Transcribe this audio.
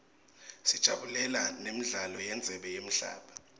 sajabulela nemidlalo yendzebe yemhlaba